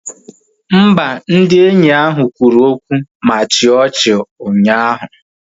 Mba, ndị enyi ahụ kwuru okwu ma chịa ọchị ụnyaahụ